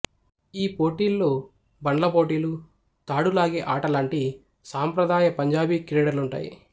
ఈ పోటీల్లో బండ్ల పోటీలు తాడు లాగే ఆట లాంటి సాంప్రదాయ పంజాబీ క్రీడలుంటాయి